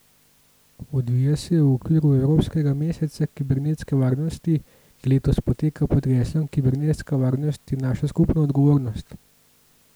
Odvija se v okviru evropskega meseca kibernetske varnosti, ki letos poteka pod geslom Kibernetska varnost je naša skupna odgovornost!